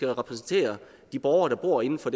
at repræsentere de borgere der bor inden for